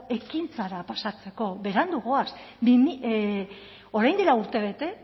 ekintzara pasatzeko berandu goaz orain dela urtebete